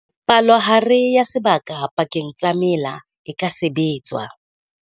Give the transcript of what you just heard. Palohare ya sebaka pakeng tsa mela e ka sebetswa.